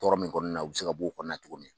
Tɔɔrɔ min kɔnɔna na u bɛ se ka bɔ o kɔnana cogo min.